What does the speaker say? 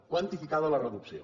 quantificada la reducció